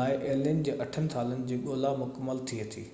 لاءِ الين جي اٺن سالن جي ڳولا مڪمل ٿئي ٿي